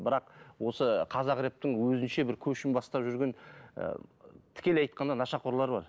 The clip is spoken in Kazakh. бірақ осы қазақ рэптің өзінше бір көшін бастап жүрген ы тікелей айтқанда нашақорлар бар